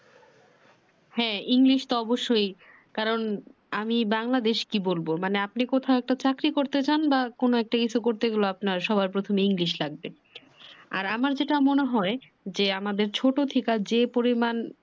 হ্যা english তো অবশ্যই। কারণ, আমি বাংলাদেশ কি বলবো। মানে আপনি কোথাও একটা চাকরি করতে যান বা কোনো একটা কিছু করতে গেলেও আপনার সবার প্রথমে english লাগবে। আর আমার যেটা মনে হয় যে আমাদের ছোট থেকে যে পরিমান